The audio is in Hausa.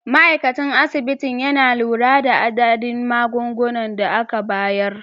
Ma'aikacin asibitin yana lura da adadin magungunan da aka bayar.